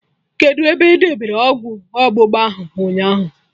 Kedụ ebe edebere ọgwụ ọgbụgba ahụ ụnyaahụ?